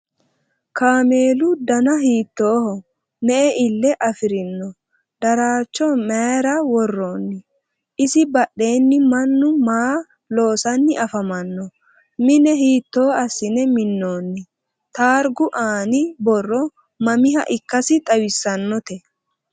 Kaammelu danna hiittoho? Me'e iile affirinno? Daraaricho mayiira woroonni? Isi badheenni mannu maa loosanni afammanno? Mine hiitto asinne minoonni? Taargu aanni borro mamiha ikkassi xawissannotte?